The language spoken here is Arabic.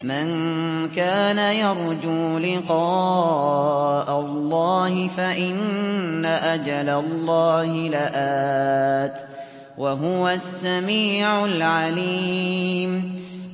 مَن كَانَ يَرْجُو لِقَاءَ اللَّهِ فَإِنَّ أَجَلَ اللَّهِ لَآتٍ ۚ وَهُوَ السَّمِيعُ الْعَلِيمُ